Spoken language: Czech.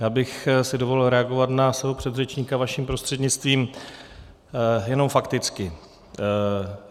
Já bych si dovolil reagovat na svého předřečníka vaším prostřednictvím, jenom fakticky.